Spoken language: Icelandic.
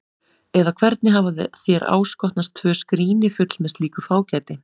Eða hvernig hafa þér áskotnast tvö skríni full með slíku fágæti?